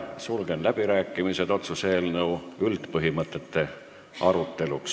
Sulgen läbirääkimised otsuse eelnõu üldpõhimõtete üle.